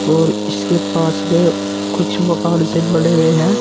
और इसके पास में कुछ मकान से बने हुए हैं।